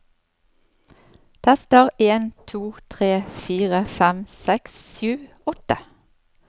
Tester en to tre fire fem seks sju åtte